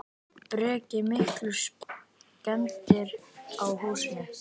Breki: Miklar skemmdir á húsinu?